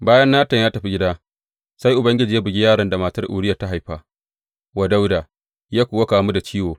Bayan Natan ya tafi gida, sai Ubangiji ya bugi yaron da matar Uriya ta haifa wa Dawuda, ya kuwa kamu da ciwo.